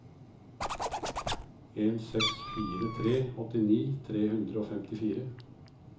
en seks fire tre åttini tre hundre og femtifire